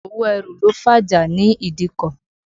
Owó ẹrù ló fàjà ní ìdíkọ̀.